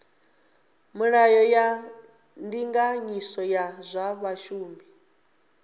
milayo ya ndinganyiso ya zwa vhashumi